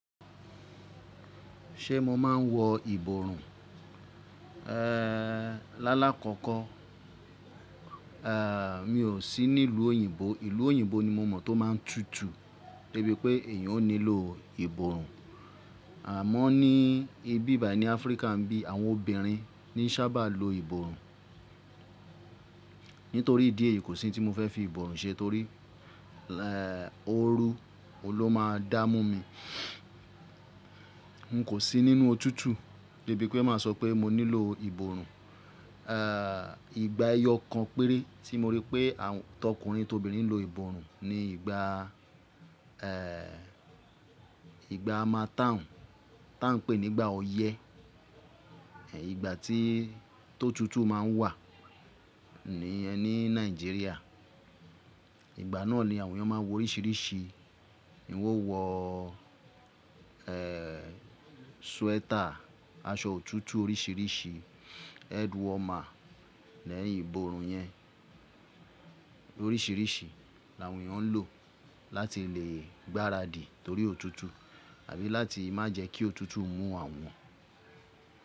Ṣé mo máa n wọ ìborùn? Eeh, lálá kọ́kọ́, eeh, mi ò sí nílùú òyìnbó. Ìlú òyìnbó ni mo mọ̀ tó máa n tutù débi pé èyàn nílò ìborùn. Àmọ́ ní ibi bàyi ní Áfríkà nbí, àwọn obìnrin ní sábà lo ìborùn. Nítorí ìdí èyí kò sí tí mo fẹ́ fi ìborùn ṣe torí, eeh, ooru ló máa n dá mú mi. N kò sí nínú otútù débi pé màá sọ pé mo nílò ìborùn. Eeh, ìgbà ẹyọ kan péré tí mo rí pé àwọn t'ọkùnrin t'obìnrin lo ìborùn ni ìgbà, eeh, ìgbà harmattan tá a n pè nígbà oyẹ. Ẹ̀ ìgbà tí tó tutù má n wà ní ẹ ní Nàìjíríà ìgbà náà ni àwọn ènìyàn máa n wo orísìírísìí, wọ́n wọ, eeh, sweater, aṣọ òtútù orísìírísìí, head warmer, lẹ́yìn ìborùn yẹn orísìírísìí làwọn ènìyàn n lò láti lè gbáradì torí òtútù àbí láti má jẹ kí òtútù mú àwọn.